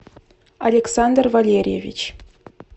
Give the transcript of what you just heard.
александр валерьевич